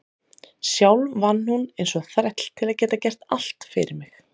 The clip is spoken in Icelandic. Sjálf vann hún eins og þræll til að geta gert allt fyrir mig.